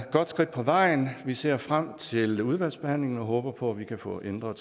godt skridt på vejen vi ser frem til udvalgsbehandlingen og håber på at vi kan få ændret